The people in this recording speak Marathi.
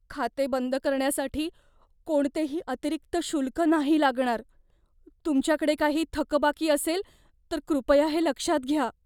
खाते बंद करण्यासाठी कोणतेही अतिरिक्त शुल्क नाही लागणार. तुमच्याकडे काही थकबाकी असेल तर कृपया हे लक्षात घ्या.